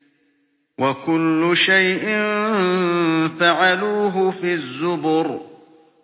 وَكُلُّ شَيْءٍ فَعَلُوهُ فِي الزُّبُرِ